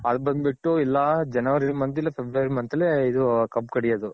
ಅದ್ ಬಂದ್ ಬಿಟ್ಟು ಇಲ್ಲ January month ಇಲ್ಲ February month ಅಲ್ಲೇ ಇದು ಕಬ್ಬ್ ಕಡ್ಯೋದ್.